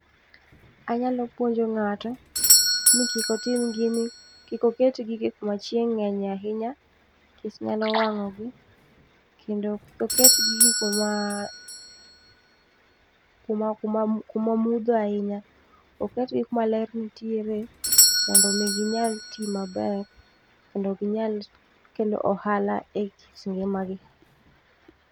Anyalo puonjo ng'ato ni kik otim gini, kik oket gigi kuma chieng' ng'enye ahinya nikech nyalo wang'o gi kendo oket gigo ma ,kuma, kuma mudho ahinya, oketgi kuma ler nitiere mondo mi ginyal tii maber kendo ginyal kelo ohala e margi